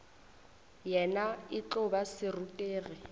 yena e tlo ba serutegi